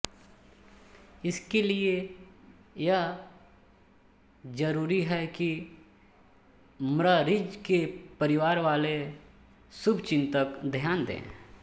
इस लिये यह ज़्र्रुरी है कि म्ररीज़ के परिवार वाले और शुभचिन्तक ध्यान दे